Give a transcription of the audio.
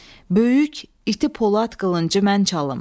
Böyük iti polad qılıncı mən çalım.